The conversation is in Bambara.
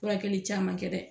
Furakɛli caman kɛ dɛ